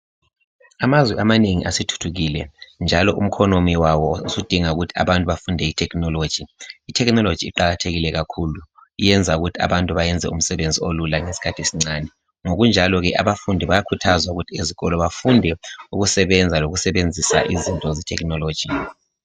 Amazwe amanengi asethuthukile njalo umkhonomi wawo usudinga ukuthi abantu bafunde itechnology. Itechnology iqakathekile kakhulu yenza ukuthi abantu bayenze umsebenzi olula ngeskhathi esincane ngokunjaloke abafumdi bayakhuthaza ukuthi ezikolo bafunde ukusebenza lokusebenzisa izinto zetechnology.